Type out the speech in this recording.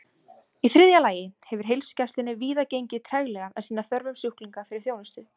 Í þriðja lagi hefur heilsugæslunni víða gengið treglega að sinna þörfum sjúklinga fyrir þjónustu.